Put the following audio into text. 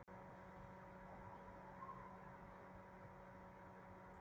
Þetta er gjöf frá húsbóndanum, sagði hann svo hátt að rödd hans mátti vel heyrast.